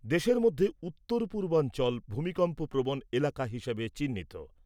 দেশের মধ্যে উত্তরপূর্বাঞ্চল ভূমিকম্প প্রবণ এলাকা হিসেবে চিহ্নিত।